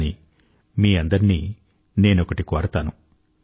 కానీ మీ అందరినీ నేనొకటి కోరతాను